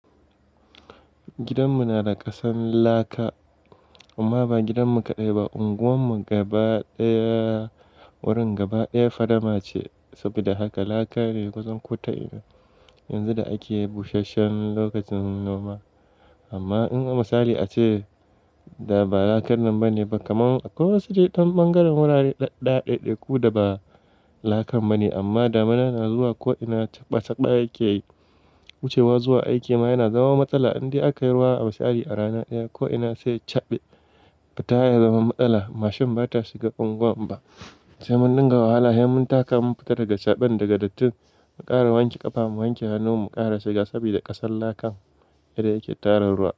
Gidanmu na da ƙasan laka, amma ba gidanmu kaɗai ba unguwar mu gaba ɗaya, wurin gaba ɗaya fadama ce. Saboda haka laka ne kusan kota ina. Yanzu da ake busasshen lokacin noma, amma in a misali a ce, da ba lakan nan ba ne ba, kaman akwai wasu dai ɗan ɓangaren wurare ɗaɗɗaya, ɗeɗeku da ba, lakan ba ne amma damunan na zuwa ko'ina caɓa caɓa yake yi, wucewa zuwa aiki ma yana zama matsala indai aka yi ruwa a misali a rana ɗaya ko'ina sai ya caɓe, fita ya zama matsala, mashin bata shiga unguwar inba, sai mun dinga wahala, sai mun ta ka mun fita daga caɓen daga dattin, mu ƙara wanke ƙafa mu wanke hannun mu ƙara shiga sabida ƙasan lakan, yadda ya ke tara ruwa,